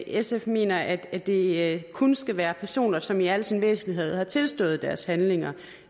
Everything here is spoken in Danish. sf mener at det kun skal være personer som i al sin væsentlighed har tilstået deres handlinger